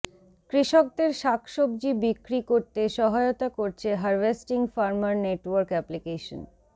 কৃষকদের শাকসবজি বিক্রি করতে সহায়তা করছে হার্ভেস্টিং ফার্মার নেটওয়ার্ক অ্যাপ্লিকেশন